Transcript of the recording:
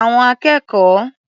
Àwọn akẹ́kọ̀ọ́